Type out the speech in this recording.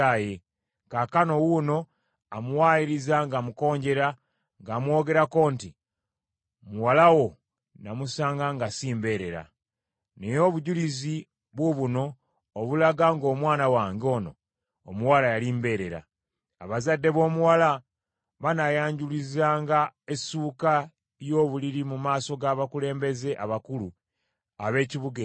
Kaakano wuuno amuwaayiriza ng’amukonjera ng’amwogerako nti, Muwala wo namusanga nga si mbeerera.” Naye obujulizi buubuno obulaga ng’omwana wange ono omuwala yali mbeerera. Abazadde b’omuwala banaayanjululizanga essuuka y’obuliri mu maaso g’abakulembeze abakulu ab’ekibuga ekyo.